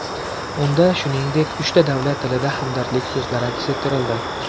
Unda, shuningdek, uchta davlat tilida hamdardlik so‘zlari aks ettirildi.